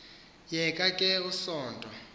yeka ke usonto